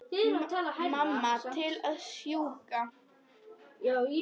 Mamma til að sjúga.